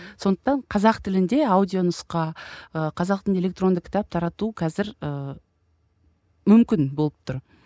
сондықтан қазақ тілінде аудио нұсқа ы қазақ тілінде электронды кітап тарату қазір ыыы мүмкін болып тұр